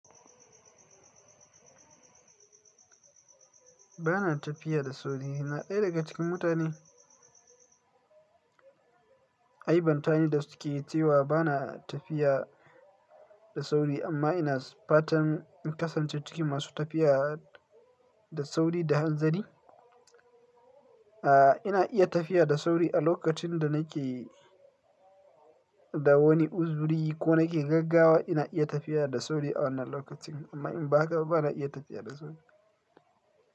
Ba na tafiya da sauri. Na ɗaya daga cikin mutane, ai bantani da suke cewa ba na tafiya da sauri amma ina fatan in kasance cikin masu tafiya da sauri da hanzari. A, ina iya tafiya da sauri a lokacin da nake da wani uzuri ko nake gaggawa ina iya tafiya da sauri a wannan lokacin amma in ba haka ba na iya tafiya da sauri.